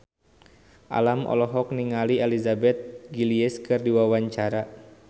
Alam olohok ningali Elizabeth Gillies keur diwawancara